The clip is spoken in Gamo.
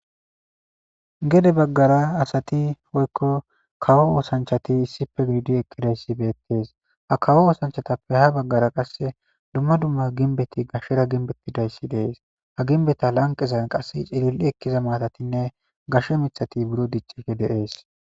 Gede baggara asathi woykko kawo oosanchchathi issipe gididi eqqidayssi beeththees; ha kawo oosanchchathappe ha baggara qassi dumma dumma gimbbethi gashera gimbbeththizayssi de7ees; ha gimbbetha lanqqezan qassi cilil7i ekkiza maathathinne gashe miththathi biro dicciidde de7ees.